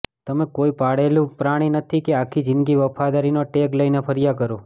તમે કોઈ પાળેલું પ્રાણી નથી કે આખી જીંદગી વફાદારીનો ટેગ લઈને ફર્યા કરો